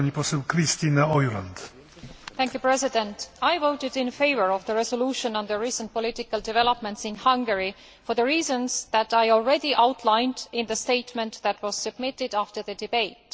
Mr President, I voted in favour of the resolution on the recent political developments in Hungary, for the reasons that I already outlined in the statement that was submitted after the debate.